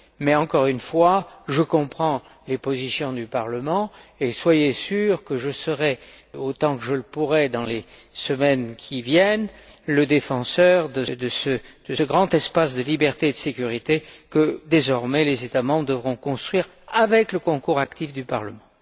Mais, encore une fois, je comprends les positions du Parlement et soyez sûrs que je serai, autant que je le pourrai, dans les semaines qui viennent, le défenseur de ce grand espace de liberté et de sécurité que, désormais, les États membres devront construire avec le concours actif du Parlement.